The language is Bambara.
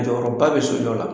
Jɔyɔrɔba bɛ sojɔ la.